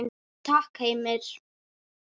Takk Heimir.